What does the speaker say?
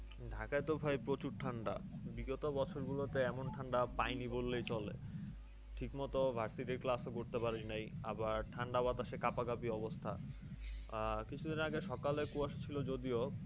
ঢাকায় তো ভাই প্রচুর ঠান্ডা। বিগত বছর গুলোতে এমন ঠান্ডা পায়নি বললেই চলে। ঠিকমত varsity class ও করতে পার নাই আবার ঠান্ডা বাতাসে কাপাকাপি অবস্থা। আহ কিছুদিন আগে সকালে কুয়াশা ছিল যদিও,